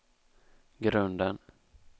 grunden